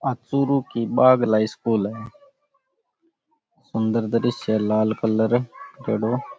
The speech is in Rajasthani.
आ चुरु की बागला स्कूल है सुन्दर दृस्य लाल कलर कड़े --